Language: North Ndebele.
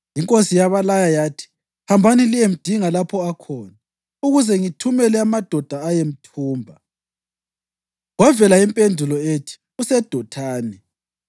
Inkosi yabalaya yathi, “Hambani liyemdinga lapho akhona, ukuze ngithumele amadoda ayemthumba.” Kwavela impendulo ethi, “UseDothani.”